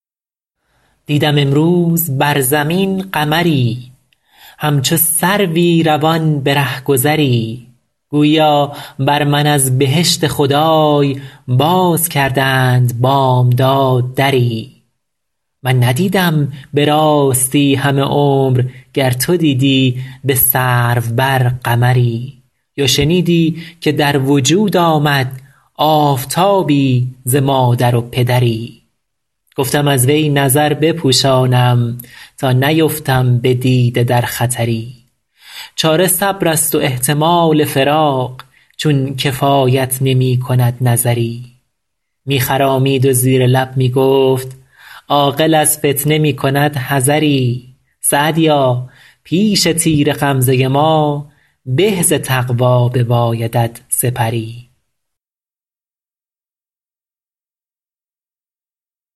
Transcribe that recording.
دیدم امروز بر زمین قمری همچو سروی روان به رهگذری گوییا بر من از بهشت خدای باز کردند بامداد دری من ندیدم به راستی همه عمر گر تو دیدی به سرو بر قمری یا شنیدی که در وجود آمد آفتابی ز مادر و پدری گفتم از وی نظر بپوشانم تا نیفتم به دیده در خطری چاره صبر است و احتمال فراق چون کفایت نمی کند نظری می خرامید و زیر لب می گفت عاقل از فتنه می کند حذری سعدیا پیش تیر غمزه ما به ز تقوا ببایدت سپری